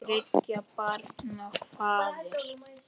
Þriggja barna faðir.